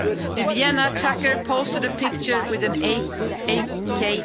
The Vienna attacker posted a picture with an